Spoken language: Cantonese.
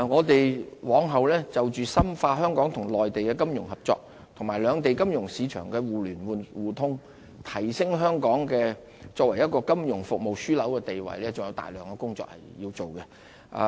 我們往後就着深化香港與內地的金融合作及兩地金融市場的互聯互通，提升香港作為金融服務樞紐的地位還有大量的工作要做。